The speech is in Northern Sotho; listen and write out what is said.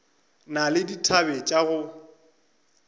na le dithabe tša go